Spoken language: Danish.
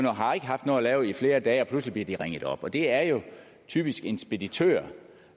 og har ikke haft noget at lave i flere dage og pludselig bliver de ringet op det er jo typisk en speditør